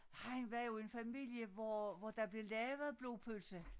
Han var jo en familie hvor hvor der blev lavet blodpølse